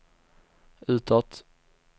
utåt